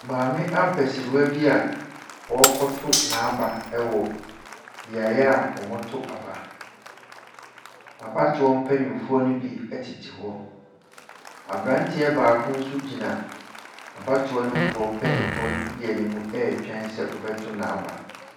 Maame abasiriwa bi a ɔrekɔto n'aba wɔ beaeɛ a wɔto aba. Abatoɔ mpanimfoɔ no bi tete hɔ. Aberanteɛ no baako nso gyina abatoɔ no foɔ mpanimfoɔ no bi anim retwɛn sɛ ɔbɛto n'aba.